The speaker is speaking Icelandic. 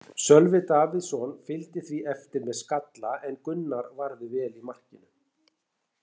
Sölvi Davíðsson fylgdi því eftir með skalla en Gunnar varði vel í markinu.